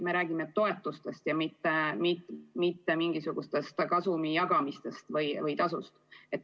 Me räägime toetustest, mitte mingisugusest kasumi jagamisest või tasust.